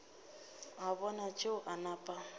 a bona tšeo a nape